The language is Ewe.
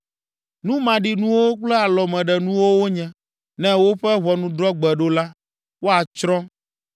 Nu maɖinuwo kple alɔmeɖenuwo wonye, ne woƒe ʋɔnudrɔ̃gbe ɖo la, woatsrɔ̃.